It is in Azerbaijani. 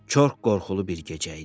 Çox qorxulu bir gecə idi.